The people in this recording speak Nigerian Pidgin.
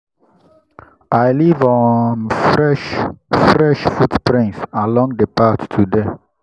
i leave um fresh fresh footprints along the path today.